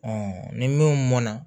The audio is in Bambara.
ni minnu mɔn na